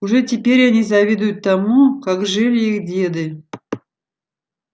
уже теперь они завидуют тому как жили их деды